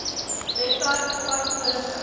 webwerf bevat vorige